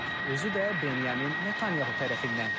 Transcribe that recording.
Özü də Benjamin Netanyahu tərəfindən.